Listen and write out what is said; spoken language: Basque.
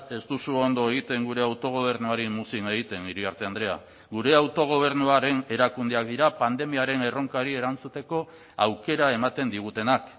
ez duzu ondo egiten gure autogobernuari muzin egiten iriarte andrea gure autogobernuaren erakundeak dira pandemiaren erronkari erantzuteko aukera ematen digutenak